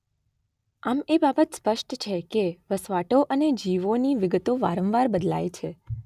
આમ એ બાબત સ્પષ્ટ છે કે વસવાટો અને જીવોની વિગતો વારંવાર બદલાય છે.